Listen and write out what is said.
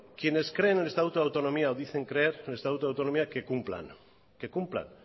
quienes creen en el estatuto de autonomía o dicen creer en el estatuto de autonomía que cumplan que cumplan